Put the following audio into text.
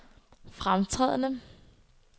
fremtrædende